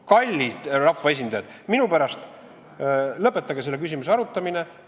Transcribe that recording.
Kallid rahvaesindajad, minu poolest lõpetage selle küsimuse arutamine.